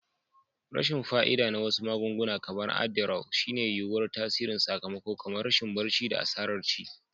Rashin fa'ida na wasu magunguna, kamar adderall, shine yuwuwar tasirin sakamako kamar rashin barci da asarar ci.